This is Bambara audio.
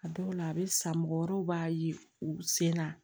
A dɔw la a bɛ san mɔgɔ wɛrɛw b'a ye u sen na